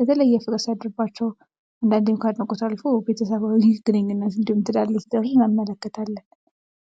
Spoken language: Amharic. የተለየ የፍቅር ሲያደርባቸው አንዳንዴም ከአድናቆት አልፎ ቤተሰባዊ ግንኙነት እንዲሁም ትዳር እየፈጠሩ እንመለከታለን።